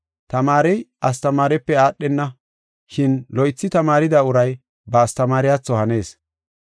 Tamaarey astamaarepe aadhenna. Shin loythi tamaarida uray ba astamaariyatho hanees.